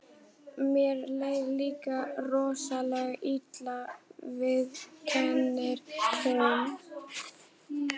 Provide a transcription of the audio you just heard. Mér leið líka rosalega illa, viðurkennir hún.